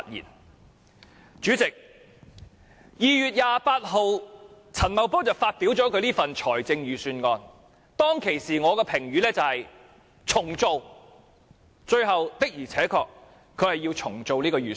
代理主席，陳茂波在2月28日發表這份預算案，當時我的評語是要"重做"，最後他確實要"重做"這份預算案。